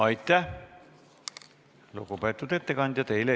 Aitäh, lugupeetud ettekandja!